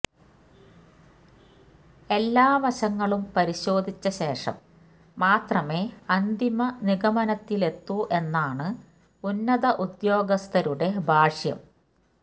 എല്ലാ വശങ്ങളും പരിശോധിച്ച ശേഷം മാത്രമേ അന്തിമ നിഗമനത്തിലെത്തൂ എന്നാണ് ഉന്നത ഉദ്യോഗസ്ഥരുടെ ഭാഷ്യം